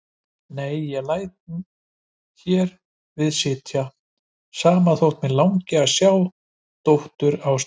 Nei, ég læt hér við sitja, sama þótt mig langi að sjá dóttur Arndísar.